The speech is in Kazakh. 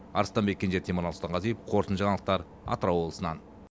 арыстанбек кенже темірлан сұлтанғазиев қорытынды жаңалықтар атырау облысынан